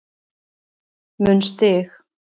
mun stig